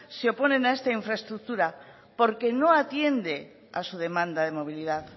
se oponen a esta infraestructura porque no atiende a su demanda de movilidad